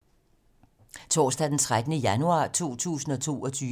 Torsdag d. 13. januar 2022